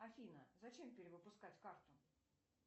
афина зачем перевыпускать карту